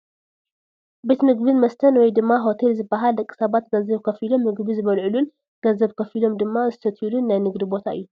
ቤት ምግብን መስተን ወይ ድማ ሆቴል ዝባሃል ደቂ ሰባት ገንዘብ ከፊሎም ምግቢ ዝበልዕሉን ገንዘብ ከፊሎም ድማ ዝሰትዩልን ናይ ንግዲ ቦታ እዩ፡፡